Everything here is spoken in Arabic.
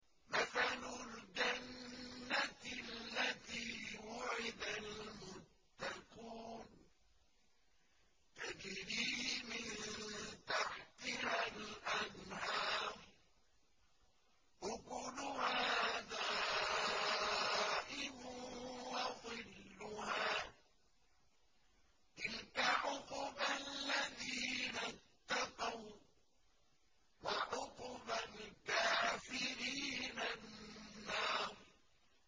۞ مَّثَلُ الْجَنَّةِ الَّتِي وُعِدَ الْمُتَّقُونَ ۖ تَجْرِي مِن تَحْتِهَا الْأَنْهَارُ ۖ أُكُلُهَا دَائِمٌ وَظِلُّهَا ۚ تِلْكَ عُقْبَى الَّذِينَ اتَّقَوا ۖ وَّعُقْبَى الْكَافِرِينَ النَّارُ